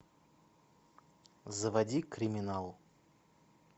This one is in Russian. заводи криминал